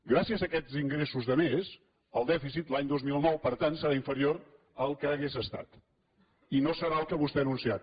gràcies a aquests ingressos de més el dèficit l’any dos mil nou per tant serà inferior al que hauria estat i no serà el que vostè ha anunciat